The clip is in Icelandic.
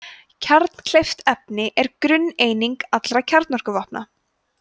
kjarnkleyft efni er grunneining allra kjarnavopna